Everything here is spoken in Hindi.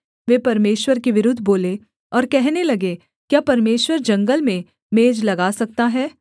वे परमेश्वर के विरुद्ध बोले और कहने लगे क्या परमेश्वर जंगल में मेज लगा सकता है